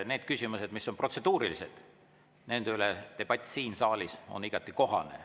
Need küsimused, mis on protseduurilised, nende üle on debatt siin saalis igati kohane.